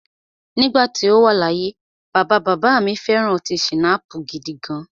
Nígbà tí o wà láyé, bàbá bàbá à mi fẹ̀ran ọtí schnapps gidigan.